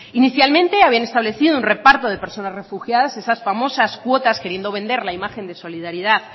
inicialmente habían establecido un reparto de personas refugiadas esas famosas cuotas queriendo vender la imagen de imagen de solidaridad